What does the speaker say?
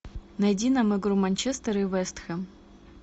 найди нам игру манчестер и вест хэм